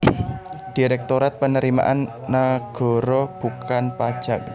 Direktorat Penerimaan Nagara Bukan Pajak